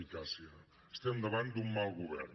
ficàcia estem davant d’un mal govern